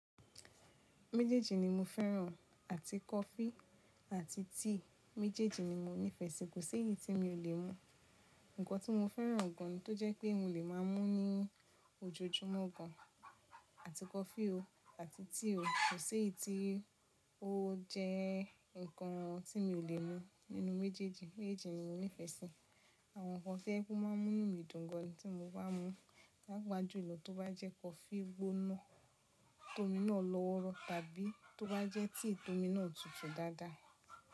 Méjèèjì ni mo fẹ́ràn àti coffee àti tea. Méjèèjì ni mo nífẹ̀ẹ́ sí, kò sí èyí tí mi ò lè mu. Ǹkan tí mo fẹ́ràn gan tó jẹ́ pé mò le máa mú ní ojoojúmọ́ gan Àti coffee o àti tea o, kò sí èyí tí ó jẹ́ nǹkan tí mi ò lè mu nínú méjèèjì. Méjèèjì ni mo nífẹ̀ẹ́ sí. Àwọn nǹkan to jẹ pe o máa ń mú inu mí dùn gan ni tí mo bá ti mú. Paápa júlò tó bá jẹ́ coffee gbóná tómi náà lọ́wọ́rọ́ tàbí tó bá jẹ́ tea tómi náà tutù dáadáa.